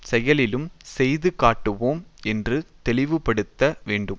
செயலிலும் செய்து காட்டுவோம் என்று தெளிவுபடுத்த வேண்டும்